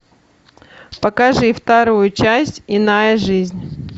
покажи вторую часть иная жизнь